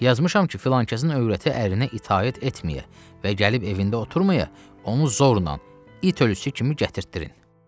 Yazmışam ki, filankəsin övrəti ərinə itaət etməyə və gəlib evində oturmaya, onu zorla, it ölüsü kimi gətirtdirin.